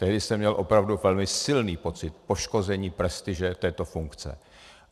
Tehdy jsem měl opravdu velmi silný pocit poškození prestiže této funkce.